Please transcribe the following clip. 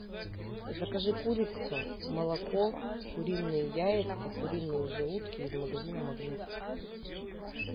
закажи курицу молоко куриные яйца куриные желудки из магазина магнит